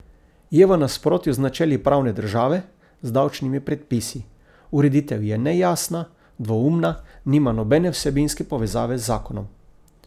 Je v nasprotju z načeli pravne države z davčnimi predpisi, ureditev je nejasna, dvoumna, nima nobene vsebinske povezave z zakonom.